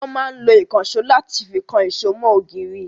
Wọn máa ń lo ìkansò láti fi kan èṣó mọ ògiri